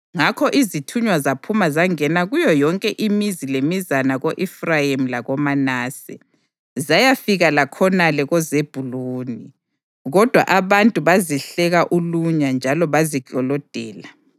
Ngakho izithunywa zaphuma zangena kuyo yonke imizi lemizana ko-Efrayimi lakoManase, zayafika lakhonale koZebhuluni, kodwa abantu bazihleka ulunya njalo baziklolodela.